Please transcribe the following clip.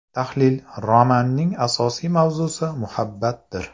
Tahlil Romanning asosiy mavzusi muhabbatdir.